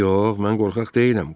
Yox, mən qorxaq deyiləm.